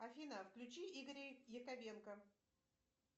афина включи игоря яковенко